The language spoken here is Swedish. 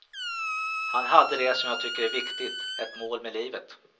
Han hade det som jag tycker är viktigt, ett mål med livet.